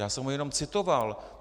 Já jsem ho jenom citoval.